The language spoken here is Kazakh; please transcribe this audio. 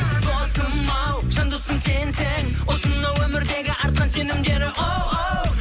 досым ау жан досым сенсің осынау өмірдегі артқан сенімдері оу оу